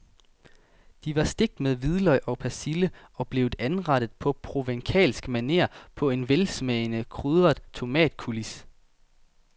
De var stegt med hvidløg og persille og blev anrettet på provencalsk maner på en velsmagende krydret tomatcoulis.